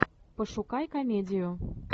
пошукай комедию